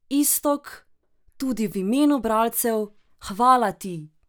Iztok, tudi v imenu bralcev, hvala ti!